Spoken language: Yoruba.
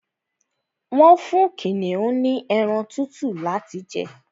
Wọ́n fún kìnìún ní ẹran tútù láti jẹ